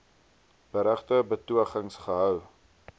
berugte betogings gehou